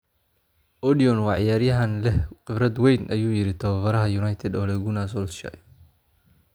“Odion waa ciyaaryahan leh khibrad weyn” ayuu yiri tababaraha United Ole Gunnar Solskjaer.